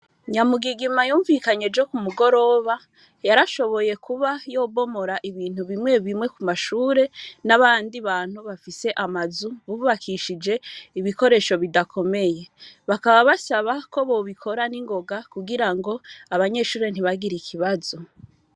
Nyamugigima yumvikanye jo ku mugoroba yarashoboye kuba yobomora ibintu bimwe bimwe ku mashure n'abandi bantu bafise amazu bubakishije ibikoresho bidakomeye bakaba basaba ko bobikora n'ingoga kugira ngo abanyeshuri ntibagira ikibazo.